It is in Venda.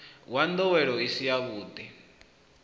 wa ndowelo i si yavhudi